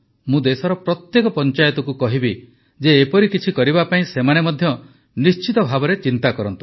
ମୁଁ ଦେଶର ପ୍ରତ୍ୟେକ ପଂଚାୟତକୁ କହିବି ଯେ ଏପରି କିଛି କରିବା ପାଇଁ ସେମାନେ ମଧ୍ୟ ନିଶ୍ଚିତଭାବେ ଚିନ୍ତା କରନ୍ତୁ